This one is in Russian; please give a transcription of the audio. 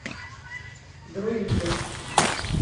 друиды